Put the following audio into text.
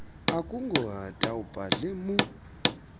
akungohata ubhadle mu